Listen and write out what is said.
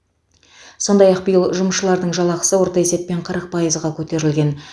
сондай ақ биыл жұмысшылардың жалақысы орта есеппен қырық пайызға көтерілген